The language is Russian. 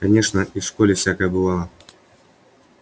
конечно и в школе всякое бывало